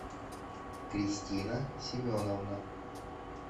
кристина семеновна